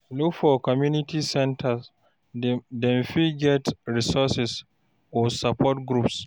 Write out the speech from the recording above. Look for community center, dem fit get resources or support groups